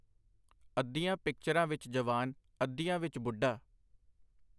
ਅੱਧੀਆਂ ਪਿਕਚਰਾਂ ਵਿਚ ਜਵਾਨ, ਅੱਧੀਆਂ ਵਿਚ ਬੁੱਢਾ.